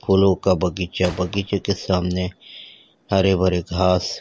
फूलों का बगीचा बगीचे के सामने हरे भरे घास।